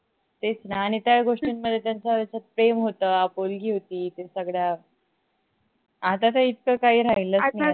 तेच न आणि त्या गोष्टीन मध्ये त्याचं अस प्रेम होत आपुलकी होती ते सगड आता तर इतका काही राहिलच नाही